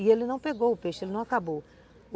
E ele não pegou o peixe, ele não acabou.